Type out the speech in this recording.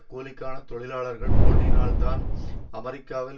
கூலிக்கான தொழிலாளர்கள் போட்டியினால்தான் அமெரிக்காவில்